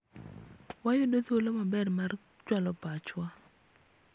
wayudo thuolo maber mar chwalo pachwa